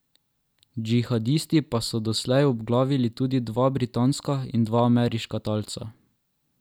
Džihadisti pa so doslej obglavili tudi dva britanska in dva ameriška talca.